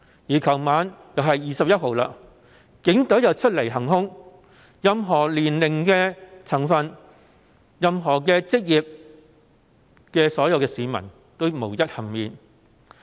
昨天晚上是21日，警隊又再次出來行兇，任何年齡、職業的市民無一幸免。